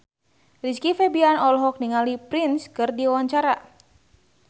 Rizky Febian olohok ningali Prince keur diwawancara